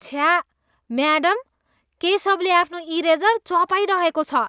छ्या! म्याडम, केशवले आफ्नो इरेजर चबाइरहेको छ।